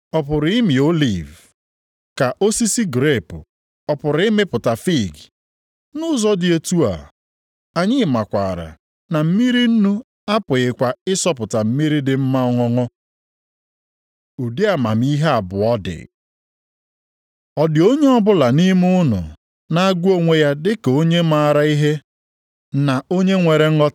Ụmụnna m, osisi fiig ọ pụrụ ịmị oliv, ka osisi grepu ọ pụrụ ịmịpụta fiig? Nʼụzọ dị otu a, anyị makwaara na mmiri nnu apụghịkwa ịsọpụta mmiri dị mma ọṅụṅụ. Ụdị amamihe abụọ dị